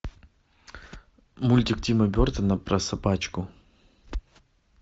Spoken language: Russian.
мультик тима бертона про собачку